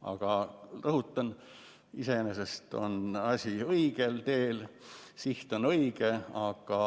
Aga rõhutan: iseenesest on asi õigel teel, siht on õige, aga